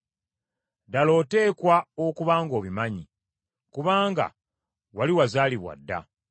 Ddala oteekwa okuba ng’obimanyi, kubanga wali wazaalibwa dda!